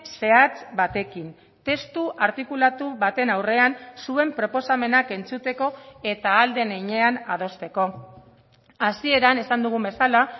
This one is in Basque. zehatz batekin testu artikulatu baten aurrean zuen proposamenak entzuteko eta ahal den heinean adosteko hasieran esan dugun bezala